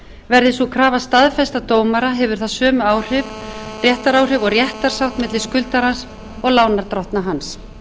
verði sú krafa staðfest af dómara hefur það sömu áhrif réttaráhrif og réttarsátt milli skuldarans og lánardrottna hans